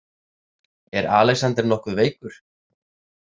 Er Alexander nokkuð veikur?